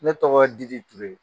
Ne tɔgɔ Diri TURE